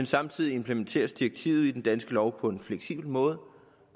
samtidig implementeres direktivet i den danske lov på en fleksibel måde